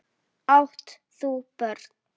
Nei ég veit það ekki.